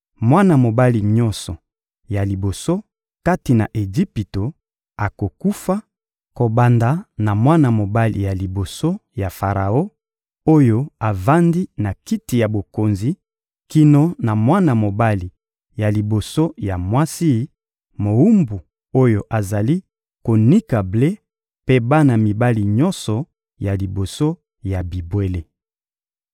Mwana mobali nyonso ya liboso kati na Ejipito akokufa, kobanda na mwana mobali ya liboso ya Faraon oyo avandi na kiti ya bokonzi kino na mwana mobali ya liboso ya mwasi mowumbu oyo azali konika ble mpe bana mibali nyonso ya liboso ya bibwele.